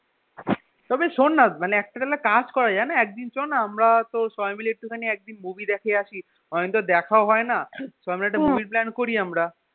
তবে শোন না মানে একটা তাহলে কাজ করা যায় না একদিন চ না আমরা কোথাও সবাই মিলে একটুখানি movie দেখে আসি অনেকদিন তো দেখাও হয়না চ না একটা movie এর plan করি আমরা